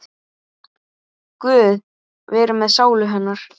Guð veri með sálu hennar.